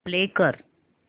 play कर